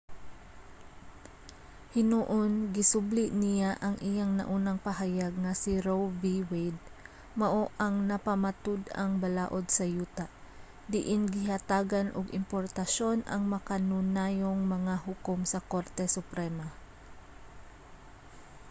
hinuon gisubli niya ang iyang naunang pahayag nga si roe v. wade mao ang napamatud-ang balaod sa yuta diin gihatagan og importansya ang makanunayong mga hukom sa korte suprema